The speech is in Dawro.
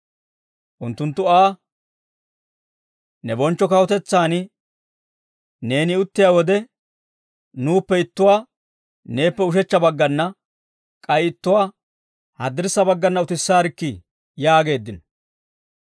Unttunttu Aa, «Ne bonchcho kawutetsaan neeni uttiyaa wode, nuuppe ittuwaa neeppe ushechcha baggana k'ay ittuwaa haddirssa baggana utissaarikkii» yaageeddino.